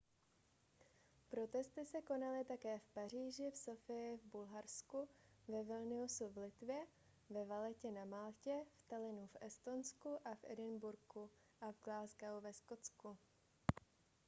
protesty se konaly také v paříži v sofii v bulharsku ve vilniusu v litvě ve valettě na maltě v tallinnu v estonsku a v edinburghu a v glasgow ve skotsku